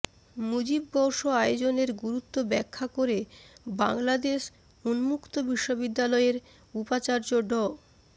মুজিববর্ষ আয়োজনের গুরুত্ব ব্যাখ্যা করে বাংলাদেশ উন্মুক্ত বিশ্ববিদ্যালয়ের উপাচার্য ড